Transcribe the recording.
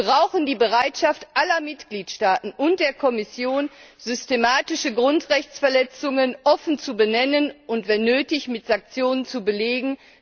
Wir brauchen die Bereitschaft aller Mitgliedstaaten und der Kommission, systematische Grundrechtsverletzungen offen zu benennen und, wenn nötig, mit Sanktionen zu belegen.